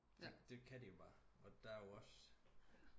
Det kan de jo bare og der er jo også